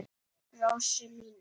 Rósu mína.